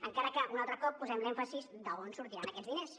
encara que un altre cop posem l’èmfasi en d’on sortiran aquests diners